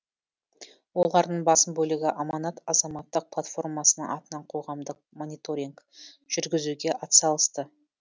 олардың басым бөлігі аманат азаматтық платформасының атынан қоғамдық мониторинг жүргізуге атсалысты